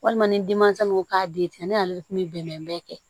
Walima ni denmansaw ko k'a den tigɛ ne y'ale kun bɛ bɛnɛ bɛɛ kɛ